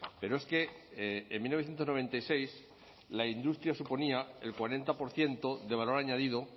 pero es que en mil novecientos noventa y seis la industria suponía el cuarenta por ciento de valor añadido